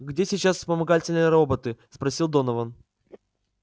где сейчас вспомогательные роботы спросил донован